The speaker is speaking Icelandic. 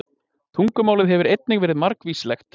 Tungumálið hefur einnig verið margvíslegt.